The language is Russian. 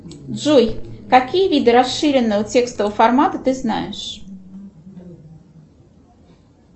джой какие виды расширенного текстового формата ты знаешь